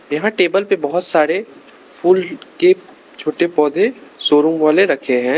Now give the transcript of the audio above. यहाँ टेबल पे बहोत सारे फूल के छोटे पौधे शोरुम वाले रखे हैं।